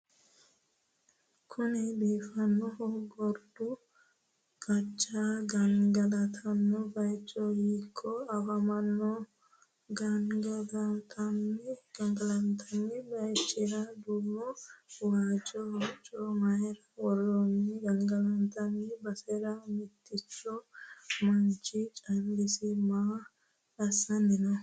Kunni Biifannohu Garbu qace gangalantanni bayicho hiiko afammano ? Gangalantanni bayichira duumonna wajjo hocco mayra worroonni ? Gangalantanni basera mittichu manchi callisi maa assanni no ?